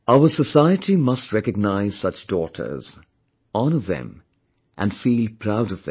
Our society must recognize such daughters, honor them and feel proud of them